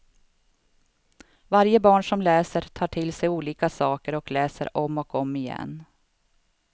Varje barn som läser tar till sig olika saker och läser om och om igen.